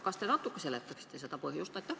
Kas te natuke seletaksite selle põhjust?